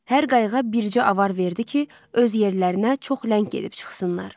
Hər qayıqa bircə avar verdi ki, öz yerlərinə çox ləng gedib çıxsınlar.